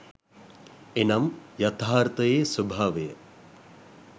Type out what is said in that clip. එනම් යථාර්ථයේ ස්භාවය